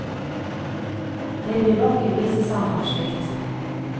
Det blir vakker visesang av slikt.